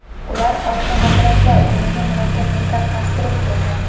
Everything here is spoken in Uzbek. Ular orqa g‘ildiraklar o‘rniga murakkab metall konstruksiya o‘rnatgan.